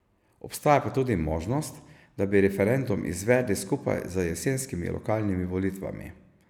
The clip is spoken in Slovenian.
Obstaja pa tudi možnost, da bi referendum izvedli skupaj z jesenskimi lokalnimi volitvami.